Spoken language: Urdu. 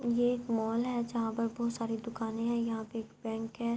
یہ ایک مال ہے۔ جہاں پی بھوت سارے دکانی ہے۔ یہاں پی ایک بینک ہے۔